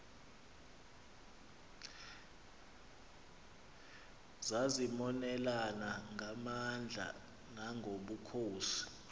zazimonelana ngamandla nangobukhosi